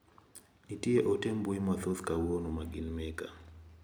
Nitie ote mbui mathoth kawuono ma gin meka.